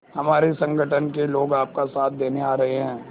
हमारे संगठन के लोग आपका साथ देने आ रहे हैं